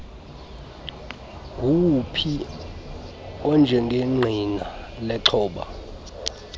nguwuphi onjengengqina lexhoba